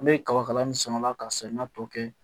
An bɛ kaba kala min samala ka sɛnɛ tɔ kɛ